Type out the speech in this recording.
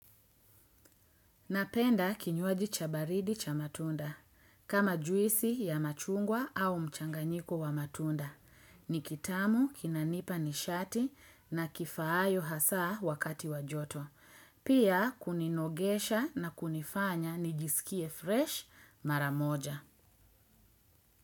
Napenda kinywaji cha baridi cha matunda. Kama juisi ya machungwa au mchanganyiko wa matunda. Ni kitamu, kinanipa nishati na kifayo hasa wakati wajoto. Pia kuninogesha na kunifanya nijisikie fresh maramoja.